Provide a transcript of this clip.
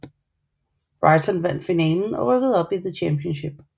Brighton vandt finalen og rykkede op i The Championship